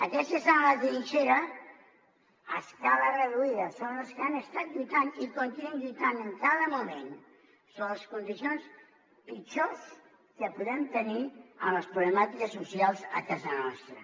aquests que estan a la trinxera a escala reduïda són els que han estat lluitant i continuen lluitant en cada moment sobre les condicions pitjors que podem tenir en les problemàtiques socials a casa nostra